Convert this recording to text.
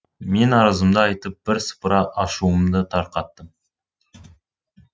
мен арызымды айтып бір сыпыра ашуымды тарқаттым